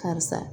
Karisa